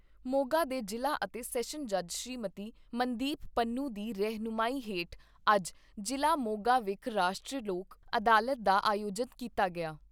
ਮੋਗਾ ਦੇ ਜ਼ਿਲ੍ਹਾ ਅਤੇ ਸੈਸ਼ਨ ਜੱਜ ਸ੍ਰੀਮਤੀ ਮਨਦੀਪ ਪੰਨੂ, ਦੀ ਰਹਿਨੁਮਾਈ ਹੇਠ ਅੱਜ ਜ਼ਿਲ੍ਹਾ ਮੋਗਾ ਵਿਖ ਰਾਸ਼ਟਰੀ ਲੋਕ ਅਦਾਲਤ ਦਾ ਆਯੋਜਨ ਕੀਤਾ ਗਿਆ।